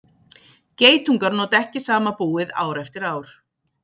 geitungar nota ekki sama búið ár eftir ár